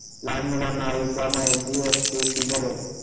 लहान मुलांना मायेची असते ती भरेल